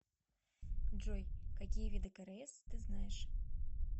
джой какие виды крс ты знаешь